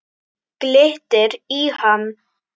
Glittir í hann.